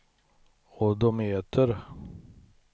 odometer